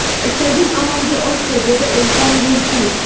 Istagim amalga oshdi”, dedi Ilhom Yo‘lchiyev.